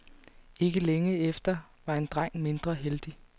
Ikke længe efter var en dreng mindre heldig.